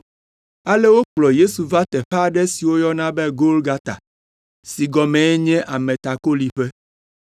Ale wokplɔ Yesu va teƒe aɖe si woyɔna be Golgata (si gɔmee nye “Ametakoliƒe”).